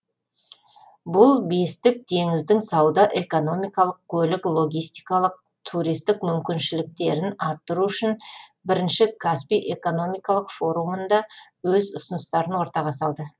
бұл бестік теңіздің сауда экономикалық көлік логистикалық туристік мүмкіншіліктерін арттыру үшін бірінші каспий экономикалық форумында өз ұсыныстарын ортаға салды